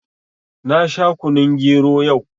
Na sha kunun gero yau